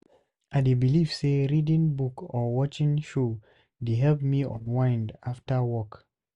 I dey believe say reading book or watching show dey help me unwind after work.